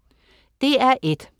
DR1: